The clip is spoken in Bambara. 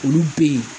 Olu be yen